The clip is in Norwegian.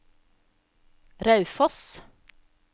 Raufoss